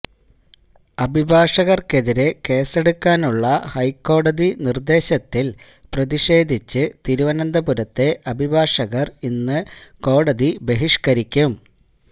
അഭിഭാഷകർക്കെതിരെ കേസെടുക്കാനുള്ള ഹൈക്കോടതി നിർദേശത്തിൽ പ്രതിഷേധിച്ച് തിരുവനന്തപുരത്തെ അഭിഭാഷകർ ഇന്ന് കോടതി ബഹിഷ്കരിക്കും